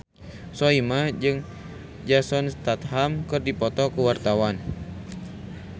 Soimah jeung Jason Statham keur dipoto ku wartawan